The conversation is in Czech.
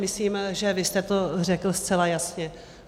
Myslím, že vy jste to řekl zcela jasně.